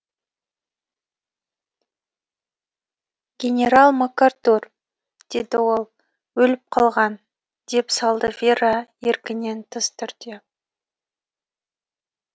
генерал макартур деді ол өліп қалған деп салды вера еркінен тыс түрде